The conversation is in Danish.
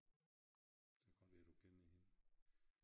Så kan det godt være du kender hende